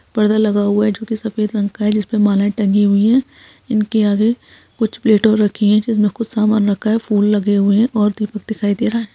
परदा लगा हुआ है जो कि सफ़ेद रंग का है जिसपे मालाए टंगी हुई है इनके आगे कुछ प्लेट और रखी है जिसमे कुछ सामान रखा है फूल लगे हुए है और दीपक दिखाई दे रहा।